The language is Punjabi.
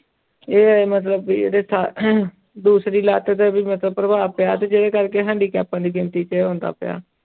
ਇਹ ਮਤਲਬ ਵੀ ਉਹਦੇ ਸ ਦੂਸਰੀ ਲੱਤ ਤੇ ਵੀ ਮਤਲਬ ਪ੍ਰਭਾਵ ਪਿਆ ਤੇ ਜਿਹਦੇ ਕਰਕੇ ਹੈਂਡੀਕੈਪਾਂ ਦੀ ਗਿਣਤੀ ਤੇ ਆਉਂਦਾ ਪਿਆ।